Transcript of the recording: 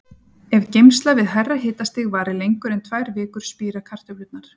Ef geymsla við hærra hitastig varir lengur en tvær vikur spíra kartöflurnar.